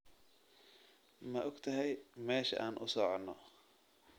Ma ogtahay meesha aan u socono?